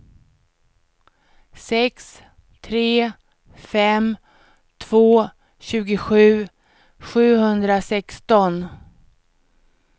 sex tre fem två tjugosju sjuhundrasexton